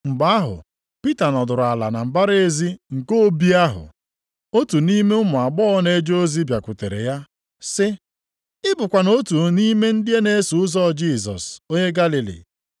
Mgbe ahụ Pita nọdụrụ ala na mbara ezi nke obi ahụ. Otu nʼime ụmụ agbọghọ na-eje ozi bịakwutere ya, sị, “Ị bụkwanụ otu nʼime ndị na-eso ụzọ Jisọs onye Galili.”